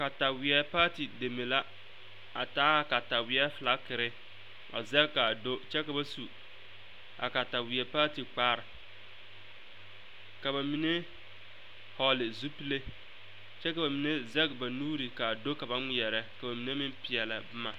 Kataweɛ paati deme la a taa a kataweɛ fiilakere a zage ka a do kyɛ ka ba su a kataweɛ paati kpare ka ba mine vɔgle zupile kyɛ ka mine zage ba nuure ka a do ka ba ŋmeɛrɛ ka ba mine meŋ peɛlle boma.